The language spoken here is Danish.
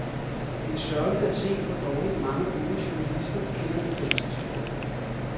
Det er sørgeligt at se, hvor dårligt mange unge journalister kender det danske sprog.